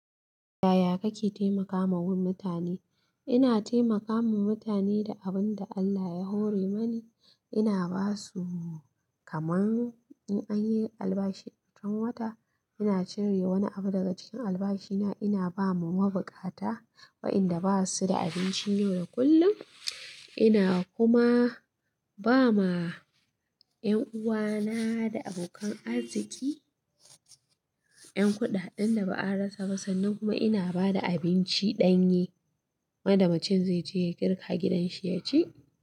Yaya kake taimakawa mutane? Ina taimakama wa mutane da abin da Allah ya hore mani. Ina ba su, kamar in an yi albashi a watan, ina cire wani abu daga cikin albashina. Ina ba wa mabukata, waɗanda ba su da abinci yau da kullum. Ina kuma ba ma ƴan uwana da abokan arziki ƴan kuɗaɗen da ba a rasa ba, sannan kuma ina ba da abincin ɗanye waɗanda macen zai je ya girka a gidanshi ya ci.